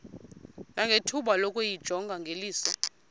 nangethuba lokuyijonga ngeliso